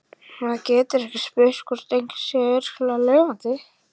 Maður getur ekki spurt hvort einhver sé ekki örugglega lifandi